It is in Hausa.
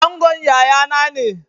Angon yayana ne.